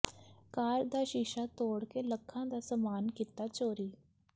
ਕਾਰ ਦਾ ਸ਼ੀਸ਼ਾ ਤੋੜ ਕੇ ਲੱਖਾਂ ਦਾ ਸਮਾਨ ਕੀਤਾ ਚੋਰੀ